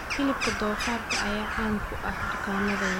Hilibka doofaarka ayaa caan ka ah dukaamada waaweyn.